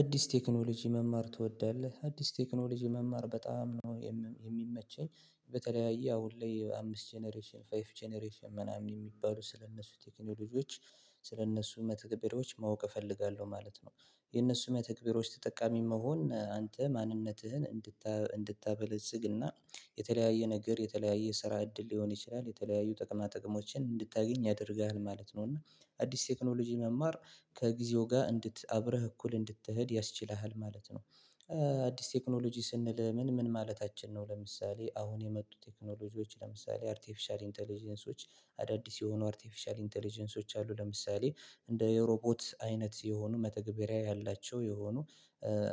አዲስ ቴክኖሎጂ መማር ትወዳለህ አዲስ ቴክኖሎጂ መማር በጣም ነው የሚመቸኝ በተለያየ አሁን ላይ አምስት ጀነሬሽን ፋይቭ ጀነሬሽን ምናምን የሚባሉ ስለእነሱ ቴክኖሎጂዎች ስለእነሱ መተግበሪያዎች ማወቅ እፈልጋለሁ ማለት ነው። የእነሱ መተግበሪያዎች ተጠቃሚ መሆን አንተ ማንነትህን እንድታበለጽግና የተለያየ ነገር የተለያየ ስራ እድል ሊሆን ይችላል የተለያዩ ጥቅማ ጥቅሞችን እንድታገኝ ያደርግሃል ማለት ነው። እና አዲስ ቴክኖሎጂ መማር ከጊዜው ጋር እንድት አብረህ እኩል እንድትሄድ ያስችልሃል ማለት ነው። አዲስ ቴክኖሎጂ ስንል ምን ምን ማለታችን ነው ለምሳሌ አሁን የመጡ ቴክኖሎጂዎች ለምሳሌ አርቴፊሻል ኢንተለጀንሶች። አዳዲስ የሆኑ አርቴፊሻል ኢንተለጀንሶች አሉ ለምሳሌ እንደ የሮቦት አይነት የሆኑ መተግበሪያ ያላቸው የሆኑ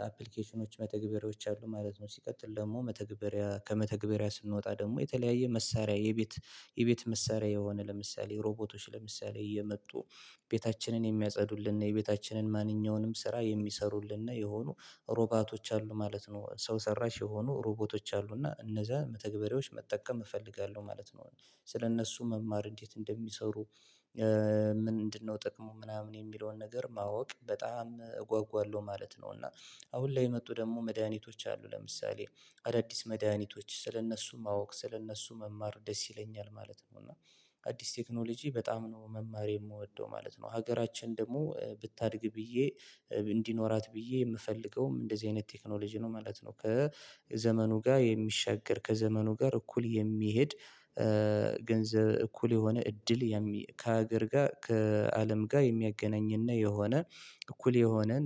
አፕሊኬሽኖች መተግበሪያዎች አሉ ማለት ነው። ሲቀጥል ደግሞ መተግበሪያ ከመተግበሪያ ስንወጣ ደግሞ የተለያየ መሳሪያ የቤት የቤት መሳሪያ የሆነ ለምሳሌ ሮቦቶች ለምሳሌ እየመጡ ቤታችንን የሚያጸዱልን እና የቤታችንን ማንኛውንም ስራ የሚሰሩልን የሆኑ ሮቦቶች አሉ ማለት ነው። ሰው ሰራሽ የሆኑ ሮቦቶች አሉና እነዛ መተግበሪያዎች መጠቀም እፈልጋለሁ ማለት ነው። እኔ ስለእነሱ መማር እንዴት እንደሚሰሩ ምንድነው? ጥቅሙ ምናምን የሚለውን ነገር ማወቅ በጣም እጓጓለሁ ማለት ነው። እና አሁን ላይ የመጡ ደግሞ መድኃኒቶች አሉ ለምሳሌ አዳዲስ መድኃኒቶች ስለእነሱ ማወቅ ስለእነሱ መማር ደስ ይለኛል ማለት ነው። እና አዲስ ቴክኖሎጂ በጣም ነው መማር የምወደው ማለት ነው። ሀገራችን ደግሞ ብታድግ ብዬ እንዲኖራት ብዬ የምፈልገውም እንደዚህ አይነት ቴክኖሎጂ ነው ማለት ነው። ከዘመኑ ጋር የሚሻገር ከዘመኑ ጋር እኩል የሚሄድ ገንዘብ እኩል የሆነ እድል ከሀገር ጋር ከአለም ጋር የሚያገናኝና የሆነ እኩል የሆነን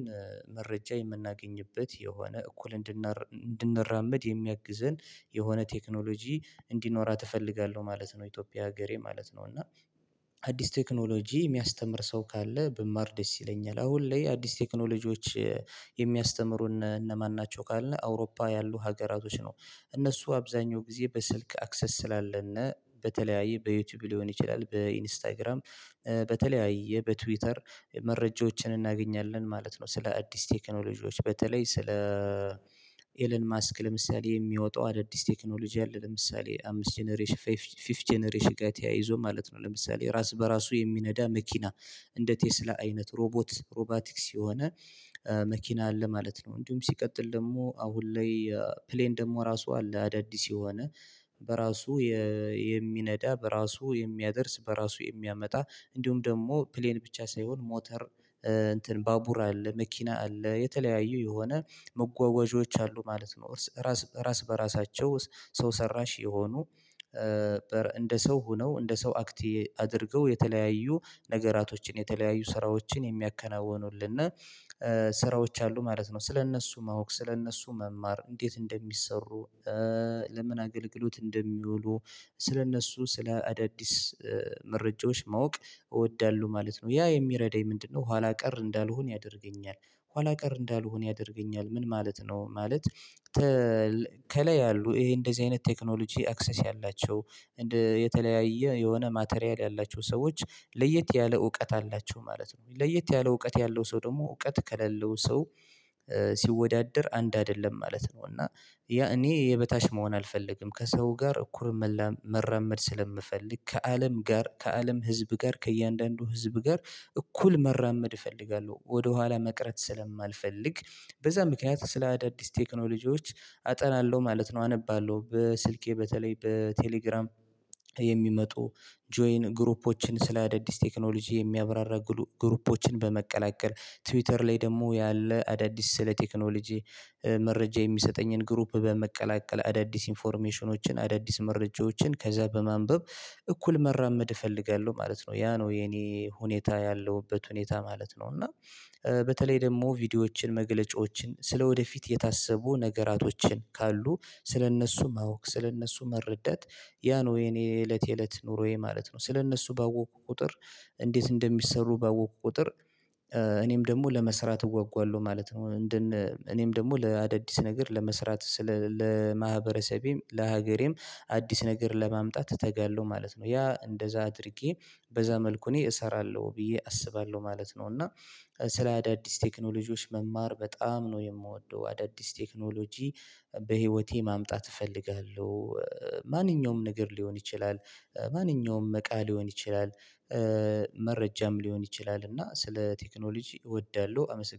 መረጃ የምናገኝበት የሆነ እኩል እንድንራመድ የሚያግዘን የሆነ ቴክኖሎጂ እንዲኖራት እፈልጋለሁ ማለት ነው። ኢትዮጵያ ሀገሬ ማለት ነው። እና አዲስ ቴክኖሎጂ የሚያስተምር ሰው ካለ ብማር ደስ ይለኛል አሁን ላይ አዲስ ቴክኖሎጂዎች የሚያስተምሩን እነማን ናቸው? ካልን አውሮፓ ያሉ ሀገራቶች ነው እነሱ አብዛኛው ጊዜ በስልክ አክሰስ ስላለን በተለያየ በዩቲዩብ ሊሆን ይችላል በኢንስታግራም በተለያየ በትዊተር መረጃዎችን እናገኛለን ማለት ነው። ስለ አዲስ ቴክኖሎጂዎች በተለይ ስለ ኤለን ማስክ ለምሳሌ የሚወጣው አዳዲስ ቴክኖሎጂ አለ ለምሳሌ አምስት ጀነሬሽን ፊቨዝ ጀነሬሽን ጋር ተያይዞ ማለት ነው። ለምሳሌ ራስ በራሱ የሚነዳ መኪና እንደ ቴስላ አይነት ሮቦት ሮቦቲክስ የሆነ መኪና አለ ማለት ነው። እንዲሁም ሲቀጥል ደግሞ አሁን ላይ ፕሌን ደግሞ ራሱ አለ አዳዲስ የሆነ በራሱ የሚነዳ በራሱ የሚያደርስ በራሱ የሚያመጣ እንዲሁም ደግሞ ፕሌን ብቻ ሳይሆን ሞተር ባቡር አለ መኪና አለ የተለያዩ የሆነ መጓጓዦች አሉ ማለት ነው። እርስ ራስ ራስ በራሳቸው ሰው ሰራሽ የሆኑ እንደ ሰው ሆነው እንደ ሰው አክት አድርገው የተለያዩ ነገራቶችን የተለያዩ ስራዎችን የሚያከናውኑልን ስራዎች አሉ ማለት ነው። ስለእነሱ ማወቅ ስለእነሱ መማር እንዴት እንደሚሰሩ። ለምን አገልግሎት እንደሚውሉ? ስለእነሱ ስለ አዳዲስ መረጃዎች ማወቅ እወዳለሁ ማለት ነው። ያ የሚረዳኝ ምንድነው? ኋላ ቀር እንዳልሆን ያደርገኛል ኋላ ቀር እንዳልሆን ያደርገኛል ምን ማለት ነው። ማለት ከላይ ያሉ ይሄ እንደዚህ አይነት ቴክኖሎጂ አክሰስ ያላቸው የተለያየ የሆነ ማቴሪያል ያላቸው ሰዎች ለየት ያለ እውቀት አላቸው ማለት ነው። ለየት ያለ እውቀት ያለው ሰው ደግሞ እውቀት ከሌለው ሰው ሲወዳደር አንድ አይደለም ማለት ነው። እና ያ እኔ የበታች መሆን አልፈልግም ከሰው ጋር እኩል መራመድ ስለምፈልግ ከአለም ጋር ከአለም ህዝብ ጋር ከእያንዳንዱ ህዝብ ጋር እኩል መራመድ እፈልጋለሁ ወደኋላ መቅረት ስለማልፈልግ በዛ ምክንያት ስለ አዳዲስ ቴክኖሎጂዎች አጠናለሁ ማለት ነው። አነባለሁ በስልኬ በተለይ በቴሌግራም የሚመጡ ጆይን ግሩፖችን ስለ አዳዲስ ቴክኖሎጂ የሚያብራራ ግሩፖችን በመቀላቀል ትዊተር ላይ ደግሞ ያለ አዳዲስ ስለ ቴክኖሎጂ መረጃ የሚሰጠኝን ግሩፕ በመቀላቀል አዳዲስ ኢንፎርሜሽኖችን አዳዲስ መረጃዎችን ከዛ በማንበብ እኩል መራመድ እፈልጋለሁ ማለት ነው። ያ ነው የኔ ሁኔታ ያለሁበት ሁኔታ ማለት ነው። እና በተለይ ደግሞ ቪዲዮዎችን መገለጫዎችን ስለወደፊት የታሰቡ ነገራቶችን ካሉ ስለእነሱ ማወቅ ስለእነሱ መረዳት ያ ነው የኔ የእለት የእለት ኑሮዬ ማለት ነው። ስለእነሱ ባወቅኩ ቁጥር እንዴት እንደሚሰሩ ባወቅኩ ቁጥር እኔም ደግሞ ለመስራት እጓጓለሁ ማለት ነው። እንደነ እኔም ደግሞ ለአዳዲስ ነገር ለመስራት ስለ ለማህበረሰቤም ለሀገሬም አዲስ ነገር ለማምጣት እተጋለሁ ማለት ነው። ያ እንደዛ አድርጌ በዛ መልኩ እኔ እሰራለሁ ብዬ አስባለሁ ማለት ነው። እና ስለ አዳዲስ ቴክኖሎጂዎች መማር በጣም ነው የምወደው አዳዲስ ቴክኖሎጂ በህይወቴ ማምጣት እፈልጋለሁ። ማንኛውም ነገር ሊሆን ይችላል። ማንኛውም እቃ ሊሆን ይችላል። መረጃም ሊሆን ይችላል እና ስለ ቴክኖሎጂ እወዳለሁ አመሰግናለሁ